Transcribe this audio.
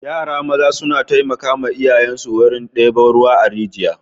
Yara maza suna taimakawa iyayensu wurin ɗebo ruwa a rijiya.